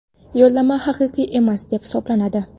yo‘llanma haqiqiy emas deb hisoblanadi.